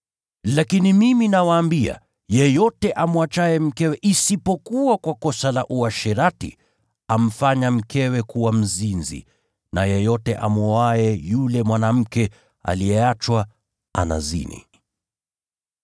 Lakini mimi nawaambia, yeyote amwachaye mkewe isipokuwa kwa kosa la uasherati, amfanya mkewe kuwa mzinzi. Na yeyote amwoaye yule mwanamke aliyeachwa, anazini.